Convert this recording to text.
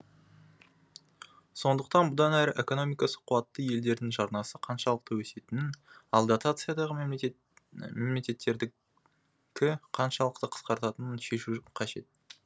сондықтан бұдан әрі экономикасы қуатты елдердің жарнасы қаншалықты өсетінін ал дотациядағы мемлекеттердікі қаншалықты қысқаратынын шешу қажет